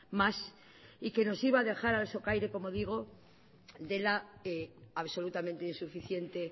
más y que nos iba a dejar al socaire como digo de la absolutamente insuficiente